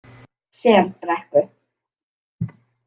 Selbrekku